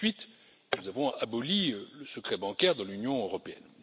Ensuite, nous avons aboli le secret bancaire de l'Union européenne.